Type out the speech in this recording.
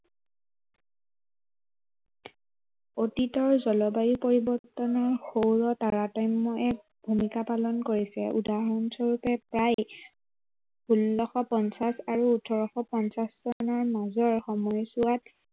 অতীতৰ জলবায়ু পৰিৱৰ্তনৰ সৌৰ তাৰাতম্য়ই এক ভূমিকা পালন কৰিছে। উদাহৰণ স্বৰূপে প্ৰায়, ষোল্লশ পঞ্চাশ আৰু ওঠৰশ পঞ্চাশ চনৰ মাজৰ সময়ছোৱাত